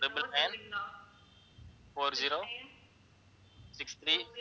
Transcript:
triple nine four zero six three